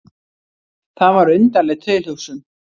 Það var undarleg tilhugsun.